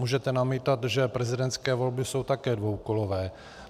Můžete namítat, že prezidentské volby jsou také dvoukolové.